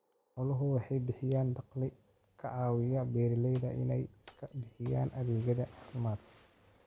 Xooluhu waxay bixiyaan dakhli ka caawiya beeralayda inay iska bixiyaan adeegyada caafimaadka.